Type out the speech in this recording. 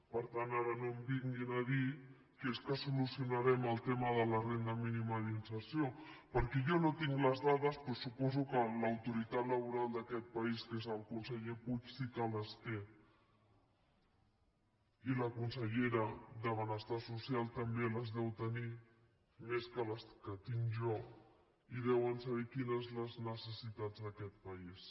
per tant ara no em vinguin a dir que és que solucionarem el tema de la renda mínima d’inserció perquè jo no tinc les dades però suposo que l’autoritat laboral d’aquest país que és el conseller puig sí que les té i la consellera de benestar social també les deu tenir més que les que tinc jo i deuen saber quines són les necessitats d’aquest país